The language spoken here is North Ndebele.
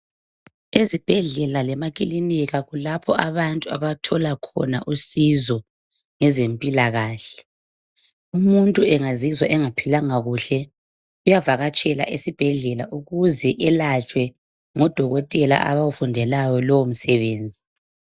Ezibhedlela lemakliniki kulapho abantu abathola khona usizo. Umuntu engazizwa engaphilanga kuhle uyavakatshela esibhedlela ukuze elatshwe ngo Dokotela abawufundelayo lowo msebenzi.